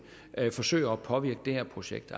forsøger at påvirke det her projekt